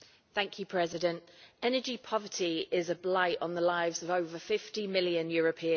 Mr President, energy poverty is a blight on the lives of over 50 million Europeans.